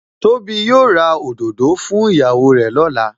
Tóbi ó ra òdòdó fún ìyàwó rè lọ́la